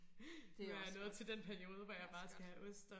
Det også godt det også godt